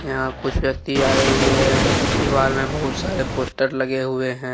यहां कुछ व्यक्ति आए हुए हैं दीवार में बहुत सारे पोस्टर लगे हुए हैं।